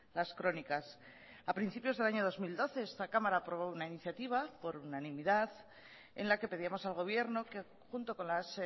las crónicas a principios del año dos mil doce esta cámara aprobó una iniciativa por unanimidad en la que pedíamos al gobierno que junto con las